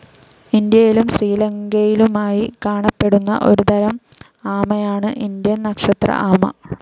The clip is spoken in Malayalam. ഇന്ത്യയിലും ശ്രീലങ്കയിലുമായി കാണപ്പെടുന്ന ഒരുതരം ആമയാണ് ഇന്ത്യൻ നക്ഷത്ര ആമ.